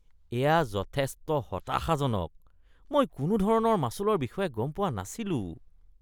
এয়া যথেষ্ট হতাশাজনক। মই কোনোধৰণৰ মাচুলৰ বিষয়ে গম পোৱা নাছিলোঁ।